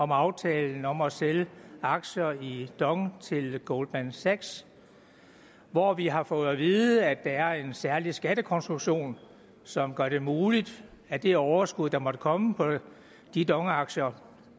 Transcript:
om aftalen om at sælge aktier i dong til goldman sachs hvor vi har fået vide at der er en særlig skattekonstruktion som gør det muligt at det overskud der måtte komme på de dong aktier